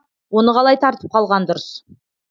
оны қалай тартып қалған дұрыс